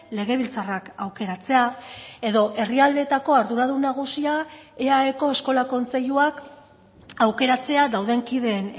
legebiltzarrak aukeratzea edo herrialdeetako arduradun nagusia eaeko eskola kontseiluak aukeratzea dauden kideen